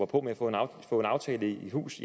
på med at få en aftale i hus